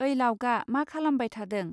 ओइ लावगा, मा खालामबाय थादों